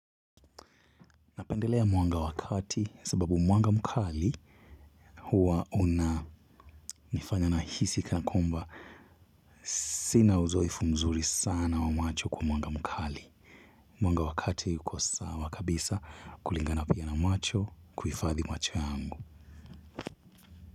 Napendelea mwanga wa kati sababu mwanga mkali huwa unanifanya nahisi kana kwamba sina uzoefu mzuri sana wa macho kwa mwanga mkali. Mwanga wa kati uko sawa kabisa kulingana pia na macho kuhifadhi macho yangu.